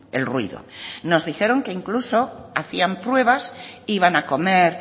el ruido nos dijeron que incluso hacían pruebas iban a comer